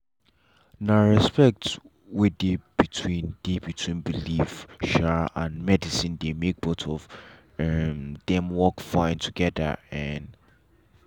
na respect wey dey between dey between belief um and medicine dey make both of um dem work fine together. um